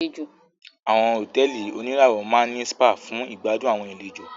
Àwọn hotẹ́ẹ́li oníràwọ̀ máa ní spa fún ìgbàdùn àwọn àlejò.